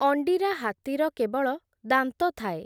ଅଣ୍ଡିରା ହାତୀର କେବଳ ଦାନ୍ତ ଥାଏ ।